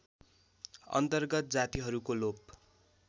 अन्तर्गत जातिहरूको लोप